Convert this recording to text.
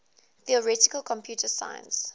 theoretical computer science